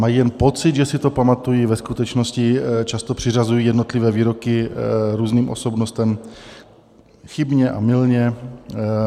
Mají jen pocit, že si to pamatují, ve skutečnosti často přiřazují jednotlivé výroky různým osobnostem chybně a mylně.